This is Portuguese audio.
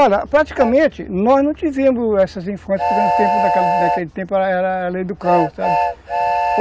Olha, praticamente, nós não tivemos essas infâncias, porque no tempo, naquele tempo era era a lei do cão, sabe?